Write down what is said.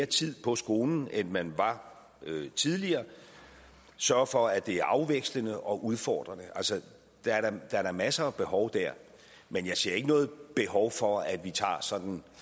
tid på skolen end man var tidligere sørger for at det er afvekslende og udfordrende der er da masser af behov der men jeg ser ikke noget behov for at vi tager sådan